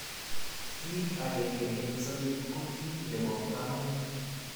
kit akenge eng sabet ko kit nebo kamangut